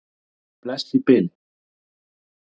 Bless í bili.